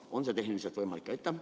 On see tehniliselt võimalik?